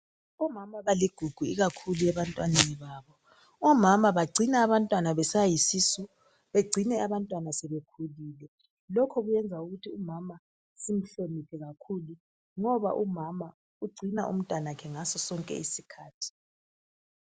Omama baligugu ikakhulu ebantwaneni babo. Omama bagcina abantwana besayisisu, begcine abantwana sebekhulile. Lokho kuyenza ukuthi umama simhloniphe kakhulu. Ngoba umama ugcina umntanakhe ngaso sonke iskhathi.